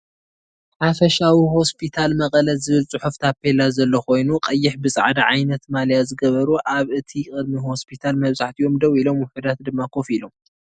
ሓፈሻዊ ሆስፒታል መቀለ ዝብል ፅሑፍ ታፔላ ዘሎ ኮይኑቀይሕ ብፃሕዳ ዓይነት ማልያ ዝገበሩ ኣብ እቲ ቅድሚ ሆስፒታል መበዛሕቲኦም ደው ኢሎም ውሕዳት ድማ ከፍ ኢሎም።